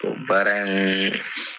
O baara n